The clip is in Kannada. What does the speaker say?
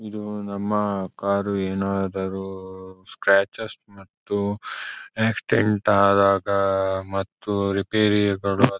ಇದು ನಮ್ಮ ಕಾರು ಏನಾದರೂ ಸ್ಕ್ರಾಚಸ್ ಮತ್ತು ಆಕ್ಸಿಡೆಂಟ್ ಆದಾಗ ಮತ್ತು ರಿಪೇರಿಗಳು.--